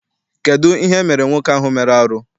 Kedụ ihe emere nwoke ahụ mere arụ?